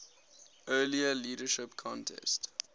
earlier leadership contest